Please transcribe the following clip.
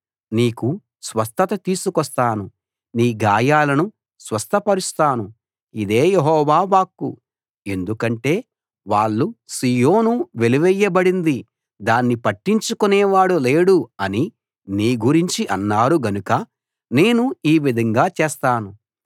నీకు స్వస్థత తీసుకొస్తాను నీ గాయాలను స్వస్థపరుస్తాను ఇదే యెహోవా వాక్కు ఎందుకంటే వాళ్ళు సీయోను వెలి వేయబడింది దాన్ని పట్టించుకునే వాడు లేడు అని నీ గురించి అన్నారు గనుక నేను ఈ విధంగా చేస్తాను